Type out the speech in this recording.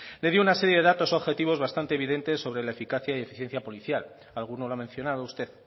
le dio una serie de datos objetivos bastante evidentes sobre la eficacia y eficiencia policial alguno lo ha mencionado usted